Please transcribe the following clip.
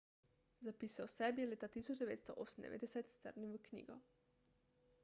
zapise o sebi je leta 1998 strnil v knjigo